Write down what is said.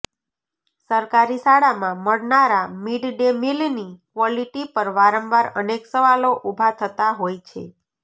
સરકારી શાળામાં મળનારા મિડ ડે મીલની ક્વોલિટી પર વાંરવાર અનેક સવાલો ઊભા થતા હોય છે